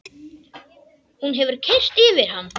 Hún hefur keyrt yfir hann!